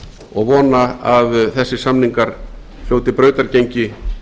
og vona að þessir samningar hljóti brautargengi